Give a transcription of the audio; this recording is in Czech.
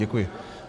Děkuji.